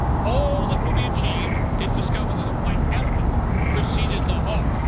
All that will be achieved is to discover that a white elephant preceded the horse.